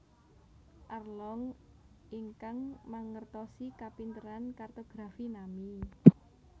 Arlong ingkang mangertosi kapinteran kartografi Nami